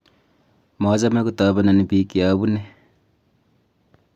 machame kotobenon biik ye abune